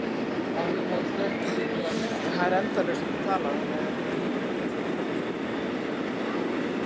Barnið missir sjón og heyrn og hættir að geta kyngt.